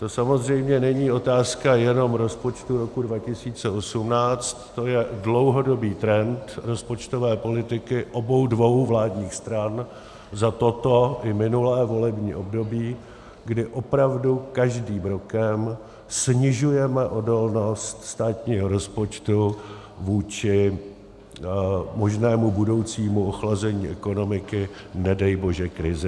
To samozřejmě není otázka jenom rozpočtu roku 2018, to je dlouhodobý trend rozpočtové politiky obou dvou vládních stran za toto i minulé volební období, kdy opravdu každým rokem snižujeme odolnost státního rozpočtu vůči možnému budoucímu ochlazení ekonomiky, nedej bože krizi.